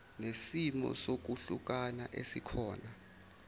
nesimo sokwehlukana esikhona